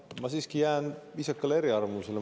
Ma siiski jään viisakale eriarvamusele.